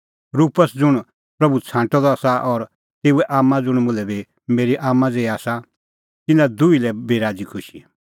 रुपस ज़ुंण प्रभू छ़ांटअ द आसा और तेऊए आम्मां ज़ुंण मुल्है बी मेरी आम्मां ज़ेही आसा तिन्नां दुही लै बी राज़ीखुशी